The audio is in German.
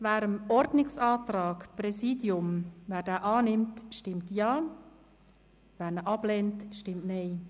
Wer den Ordnungsantrag des Präsidiums annimmt, stimmt Ja, wer diesen ablehnt, stimmt Nein.